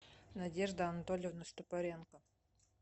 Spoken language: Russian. надежда анатольевна стопаренко